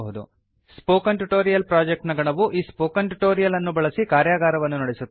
spoken tutorial project ನ ಗಣವು ಈ ಸ್ಪೋಕನ್ ಟ್ಯುಟೋರಿಯಲ್ ಅನ್ನು ಬಳಸಿ ಕಾರ್ಯಾಗಾರವನ್ನು ನಡೆಸುತ್ತದೆ